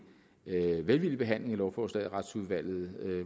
velvillig behandling af lovforslaget i retsudvalget